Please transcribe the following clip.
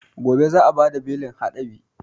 Gobe za a bada belin haɗabi